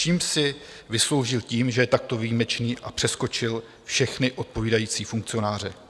Čím si vysloužil to, že je takto výjimečný a přeskočil všechny odpovídající funkcionáře?